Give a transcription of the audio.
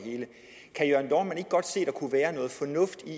kunne være noget fornuft i